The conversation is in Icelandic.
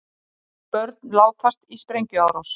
Þrjú börn látast í sprengjuárás